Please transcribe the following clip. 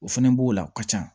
O fɛnɛ b'o la o ka ca